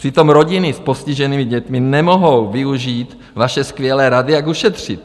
Přitom rodiny s postiženými dětmi nemohou využít vaše skvělé rady, jak ušetřit.